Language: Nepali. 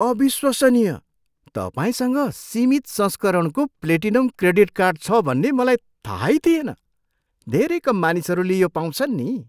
अविश्वसनीय! तपाईँसँग सीमित संस्करणको प्लेटिनम क्रेडिट कार्ड छ भन्ने मलाई थाहै थिएन। धेरै कम मानिसहरूले यो पाउँछन् नि।